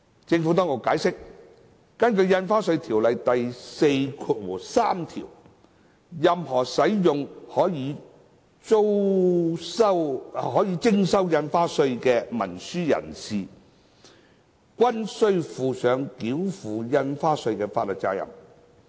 政府當局解釋，根據《條例》第43條，任何使用可予徵收印花稅的文書的人士，均須負上繳付印花稅的法律責任。